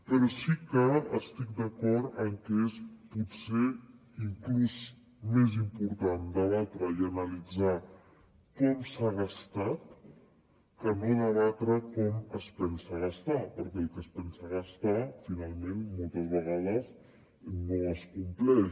però sí que estic d’acord en que és potser inclús més important debatre i analitzar com s’ha gastat que no debatre com es pensa gastar perquè el que es pensa gastar finalment moltes vegades no es compleix